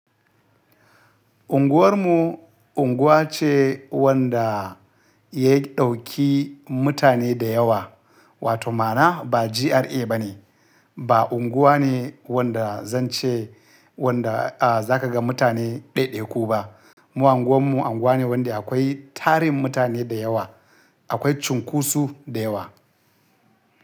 Unguwar mu unguwa ce wanda ya ɗauki mutane da yawa, wato ma'ana ba GRA bane. Ba unguwa ne wanda zan ce wanda a za ka ga mutane ɗaiɗaiku ba. Mu unguwan mu unguwa ne wanda akwai tarin mutane da yawa, akwai cunkoso da yawa.